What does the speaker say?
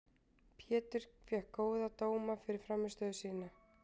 Pétur fékk góða dóma fyrir frammistöðu sína.